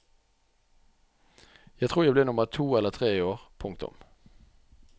Jeg tror jeg ble nummer to eller tre i år. punktum